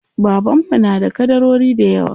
Baban mu na da ƙadarori dayawa.